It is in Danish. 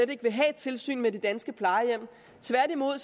ikke vil have tilsyn med de danske plejehjem tværtimod